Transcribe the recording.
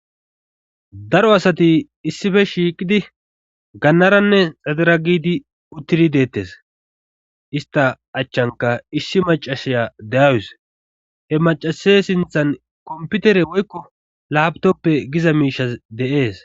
daro asati issife shiiqidi gannaranne xadera gidi uttidi deettes ista achchanka issi macashiya deawus he macase sinthan komputere woykko laabtoppe giza miishas de7ees